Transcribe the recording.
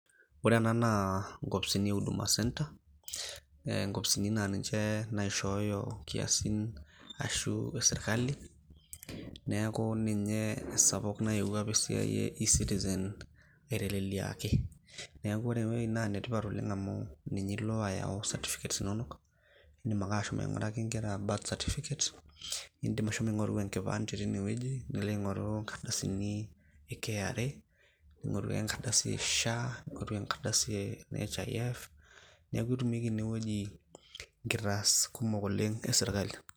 Ore ena naa nkopisini e huduma center nkopisini naa ninche naishooyo nkiasin ashu sirkali. Niaku ninye esapuk nayewuo apik esiai e e-citizen aiteleliaki. Niaku ore ewueji naa enetipat oleng amu ninye ilo ayau certificates inonok, idim ake ashomo aing`uraki nkera birth certificates. Nidim ashomo aing`oru enkipande teine wueji nilo aing`oru nkardasini e KRA, ning`oru enkardasi e SHA ning`oru enkardasi e NHIF niaku etumieki ine wueji nkitaas kumok oleng e sirkali.